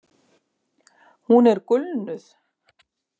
Hún er gulnuð.